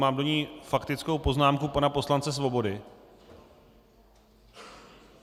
Mám do ní faktickou poznámku pana poslance Svobody.